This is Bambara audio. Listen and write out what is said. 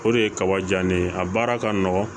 O de ye kaba ja ne ye a baara ka nɔgɔn